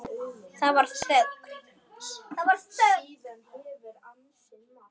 Það varð þögn.